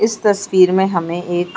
इस तस्वीर में हमें एक --